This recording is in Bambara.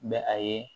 N bɛ a ye